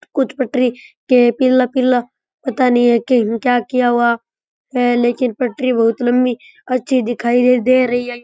कुछ पटरी के पिल पिल्ला पता नई के क्या किया हुआ है लेकिन पटरी बहुत लम्बी अच्छी दिखाई दे रही है।